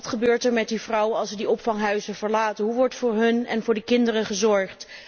Maar wat gebeurt er met die vrouwen als ze de opvanghuizen verlaten? Hoe wordt voor hun en voor de kinderen gezorgd?